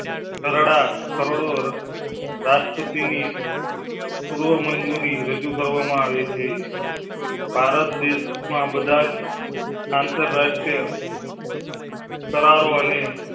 તરડા તરડો રાષ્ટ્રપતિ ની પૂર્વ મંજૂરી રજૂ કરવામાં આવી છે. ભારત દેશ ના બધાજ આંતરરાષ્ટ્રીય. તરારો ને.